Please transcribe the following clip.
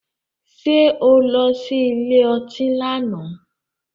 Ṣé o lọ sí ilé ọtí lánàá?